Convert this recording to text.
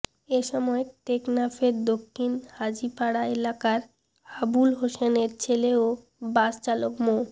এসময় টেকনাফের দক্ষিণ হাজীপাড়া এলাকার আবুল হোসেনের ছেলে ও বাস চালক মো